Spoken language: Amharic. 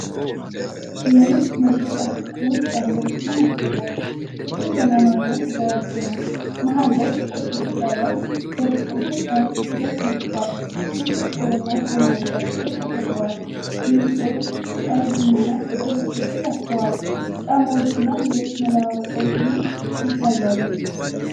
የልብስ መሸጫ ሱቅ ውስጥ ያለውን ክፍል ያሳያል። ሱቁ ዘመናዊና የተደራጀ ነው። መሃል ላይ ጥቁር ግድግዳ ላይ የሱቁ ስም በነጭ ፊደል ተጽፏል። ብዙ ጥቁርና ሰማያዊ ጃኬቶች ተሰቅለዋል። ማኒኪኖች ቀይ ቡኒና ጥቁር ልብሶችን ለብሰዋል። ጫማዎችና ሌሎች መለዋወጫዎችም ይታያሉ።